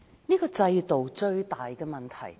這個制度最大的問題在哪裏？